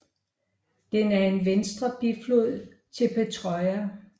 Den er en venstre biflod til Petjora